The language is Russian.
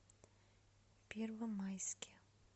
первомайске